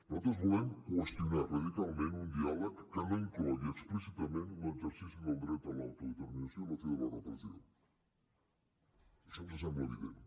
nosaltres volem qüestionar radicalment un diàleg que no inclogui explícitament l’exercici del dret a l’autodeterminació i la fi de la repressió això ens sembla evident